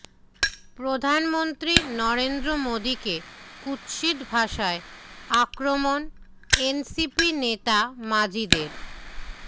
প্রধানমন্ত্রী নরেন্দ্র মোদীকে কুৎসিত ভাষায় আক্রমণ এনসিপি নেতা মাজিদের